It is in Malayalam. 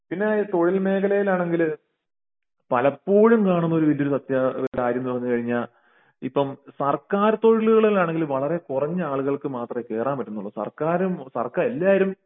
പിന്നെ തൊഴിൽ മേഖലെൽ ആണെങ്കില് പലപ്പോഴും കാണുന്ന വല്യൊരു സത്യ കാര്യന്ന് പറഞ്ഞുകഴിഞ്ഞാൽ ഇപ്പോം സർക്കാർ തൊഴിലുകളാണെങ്കിൽ വളരെ കുറഞ്ഞ ആളുകൾക്ക് മാത്രേ കേറാൻ പറ്റുന്നൊള്ളു സർക്കാരും എല്ലാവരും